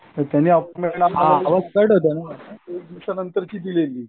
तर त्यांनी